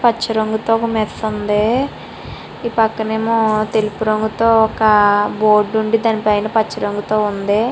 పచ్చ రంగుతో ఒక మెస్ ఉంది. ఈ పక్కనేమో తెలుపు రంగుతో ఒక బోర్డు నుండి దానిపైన పచ్చ రంగుతో ఉంది.